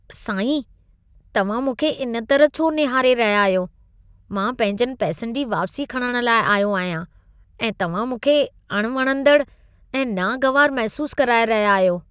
साईं, तव्हां मूंखे इन तरह छो निहारे रहिया आहियो? मां पंहिंजनि पैसनि जी वापसी खणणु लाइ आयो आहियां ऐं तव्हां मूंखे अणवणंदड़ु ऐं नागवारु महसूसु कराए रहिया आहियो।